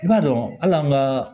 I b'a dɔn hali an ka